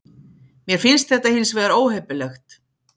Mér finnst þetta hins vegar óheppilegt